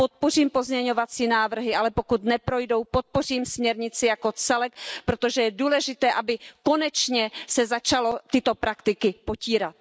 Podpořím pozměňovací návrhy, ale pokud neprojdou, podpořím směrnici jako celek, protože je důležité, aby se konečně začaly tyto praktiky potírat.